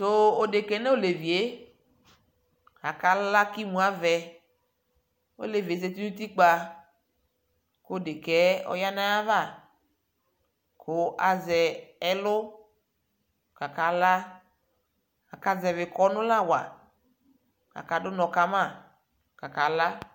Tuu odekaɛ noleviee kakala kimuavɛ oleviɛle ƶati nutikpa kodekaɛ oyanayava ku aʒɛ ɛluu kakala akaʒɛbɛ kɔnulawa kaka dunɔ kama kakala